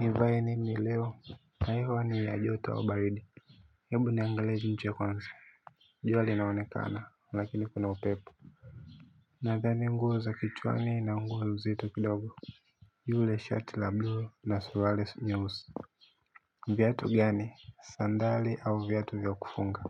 Nivae nini leo na hewa ni ya joto au baridi oHebu niangalie nje kwanza jua linaonekana lakini kuna upep. Nadhani nguo za kichwani na nguo nzito kidogo. Yule shati la bluu na Suruali Nyeusi. Viatu gani? Sandali au viatu vya kufunga?